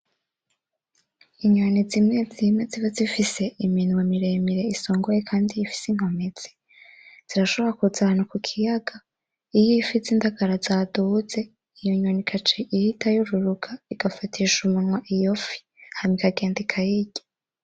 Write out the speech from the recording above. Inyoni zimwe zimwe ziba zifise iminwa miremire isongoye kandi ifis'inkomezi, zirashobora kuza ahantu kukiyaga iy'ifi zindagara zaduze iyo nyoni igac'ihita yururuka igafatish'umunwa iyofi hama ikagenda ikayirya.